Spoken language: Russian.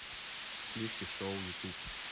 сливки шоу ютуб